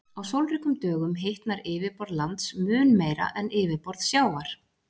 á sólríkum dögum hitnar yfirborð lands mun meira en yfirborð sjávar